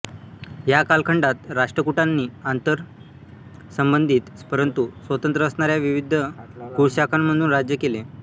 या कालखंडात राष्ट्रकूटांनी आंतरसंबंधित परंतु स्वतंत्र असणाऱ्या विविध कुळशाखांमधून राज्य केले